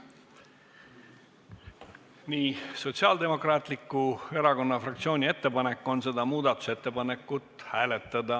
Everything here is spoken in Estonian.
Nii, Sotsiaaldemokraatliku Erakonna fraktsiooni ettepanek on seda muudatusettepanekut hääletada.